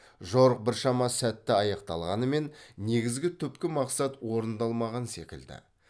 жорық біршама сәтті аяқталғанымен негізгі түпкі мақсат орындалмаған секілді